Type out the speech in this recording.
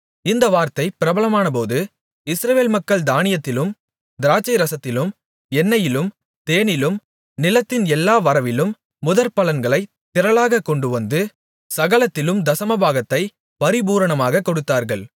இந்த வார்த்தை பிரபலமானபோது இஸ்ரவேல் மக்கள் தானியத்திலும் திராட்சைரசத்திலும் எண்ணெயிலும் தேனிலும் நிலத்தின் எல்லா வரவிலும் முதற்பலன்களைத் திரளாகக் கொண்டுவந்து சகலத்திலும் தசமபாகத்தைப் பரிபூரணமாகக் கொடுத்தார்கள்